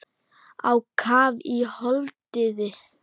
Á kaf í holdið.